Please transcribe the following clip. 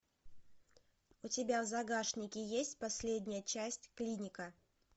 у тебя в загашнике есть последняя часть клиника